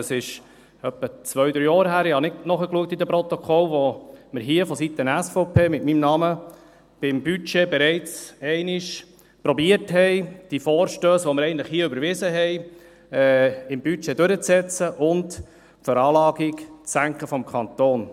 Es ist etwa zwei bis drei Jahre her – ich habe in den Protokollen nicht nachgeschaut –, als wir hier vonseiten der SVP mit meinem Namen beim Budget bereits einmal versuchten, diese Vorstösse, die wir eigentlich hier überwiesen hatten, im Budget durchzusetzen und die Veranlagung des Kantons zu senken.